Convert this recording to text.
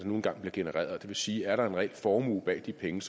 nu engang bliver genereret og det vil sige er der en reel formue bag de penge